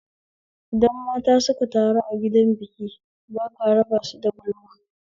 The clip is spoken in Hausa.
Idan mata suka taru a gidan biki baka raba su da gulma